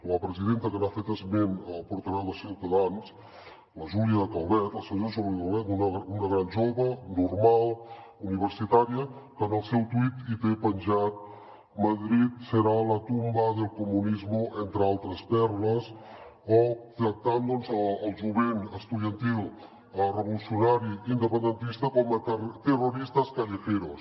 la presidenta que n’ha fet esment el portaveu de ciutadans la júlia calvet la senyora júlia calvet una gran jove normal universitària que en el seu twitter hi té penjat madrid será la tumba del comunismo entre altres perles o que tracta el jovent estudiantil revolucionari i independentista com a terroristas callejeros